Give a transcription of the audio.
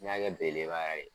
N'i y'a kɛ bele beleba yɛrɛ ye